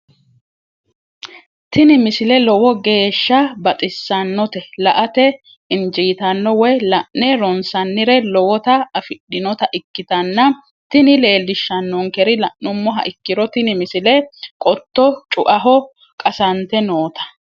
tini misile lowo geeshsha baxissannote la"ate injiitanno woy la'ne ronsannire lowote afidhinota ikkitanna tini leellishshannonkeri la'nummoha ikkiro tini misile qotto cu"aho qasante noota.